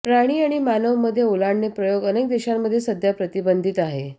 प्राणी आणि मानव मध्ये ओलांडणे प्रयोग अनेक देशांमध्ये सध्या प्रतिबंधित आहे